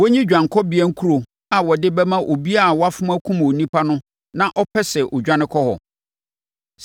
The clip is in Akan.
wɔnyi Dwanekɔbea Nkuro a wɔde bɛma obiara a wafom akum onipa na ɔpɛ sɛ ɔdwane kɔ hɔ.